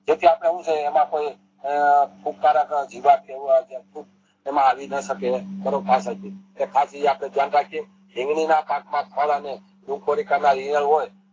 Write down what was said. jetty આપડે હું જોઈએ એમાં કોઈ ફુંકારક જીવ આવે છે આવીને સકે ધારો પાછળ થી તે ખાસ એ આપણે ધ્યાન રાખીયે હોય